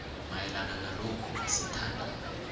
mayelana nalokhu sithanda